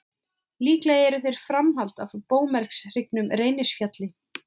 Líklega eru þeir framhald af móbergshryggnum Reynisfjalli.